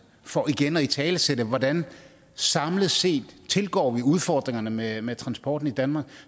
for igen at italesætte hvordan vi samlet set tilgår udfordringerne med med transporten i danmark